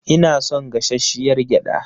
Ina son gashashshiyar gyada.